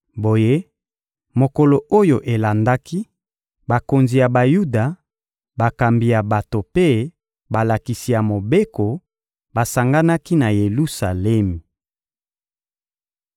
Boye, mokolo oyo elandaki, bakonzi ya Bayuda, bakambi ya bato mpe balakisi ya Mobeko basanganaki na Yelusalemi.